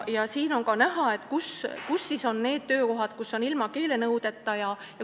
Siin slaidil on ka näha, kus sektoris on need töökohad, kus ei ole keelenõudeid.